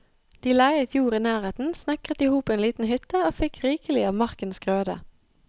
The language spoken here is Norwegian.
De leiet jord i nærheten, snekret i hop en liten hytte og fikk rikelig av markens grøde.